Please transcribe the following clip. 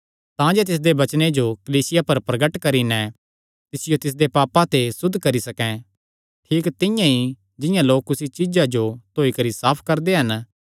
तांजे तिसदे वचने जो कलीसिया पर प्रगट करी नैं तिसियो तिसदे पापां ते सुद्ध करी सकैं ठीक तिंआं ई जिंआं लोक कुसी चीज्जा जो धोई करी साफ करदे हन